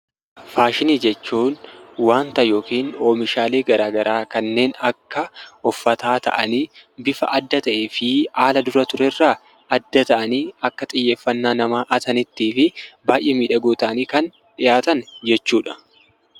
Faashinii jechuun wanta yookiin oomishaalee garagaraa kanneen akka uffataa ta'anii bifa adda ta'eefi haala dura turerraa adda ta'anii akka xiyyeeffannaa namaa hatanitti baayyee miidhagoo ta'anii kan dhiyaatan jechuudha.